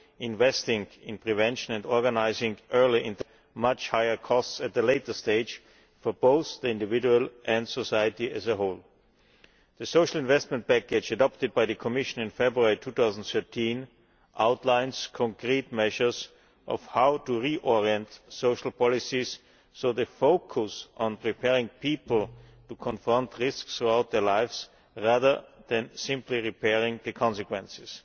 Investing in prevention and organising early intervention can also prevent much higher costs at a later stage for both the individual and society as a whole. The Social Investment Package adopted by the Commission in February 2013 outlines concrete measures of how to reorient social policies so they focus on preparing people to confront risks throughout their lives rather than simply repairing the consequences.